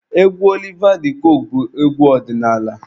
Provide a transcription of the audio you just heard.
Egwu Oliva de coque bụ egwu ọdịnaala.